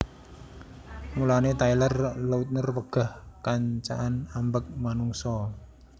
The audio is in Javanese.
Mulane Taylor Lautner wegah kancaan ambek manungsa